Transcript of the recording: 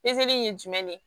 in ye jumɛn de ye